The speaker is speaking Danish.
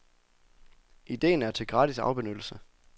Idéen er til gratis afbenyttelse.